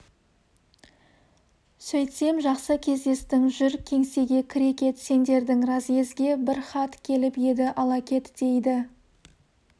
сөйтсем жақсы кездестің жүр кеңсеге кіре кет сендердің разъезге бір хат келіп еді ала кет дейді